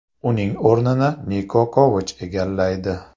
Uning o‘rnini Niko Kovach egallaydi.